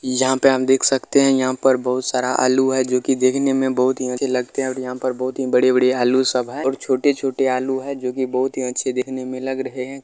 यहाँ पे हम देख सकते है यहाँ पे बहुत सारा आलू है जो की देखने में बहुत ही अच्छे लगते है और यहाँ पर बहुत ही बड़े-बड़े आलू सब है और छोटे-छोटे आलू है जो की देखने में बहुत ही अच्छे देखने में लग रहे है।